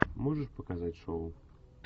можешь показать шоу